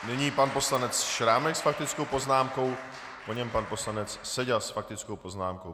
Nyní pan poslanec Šrámek s faktickou poznámkou, po něm pan poslanec Seďa s faktickou poznámkou.